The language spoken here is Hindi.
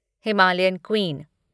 Himalayan queen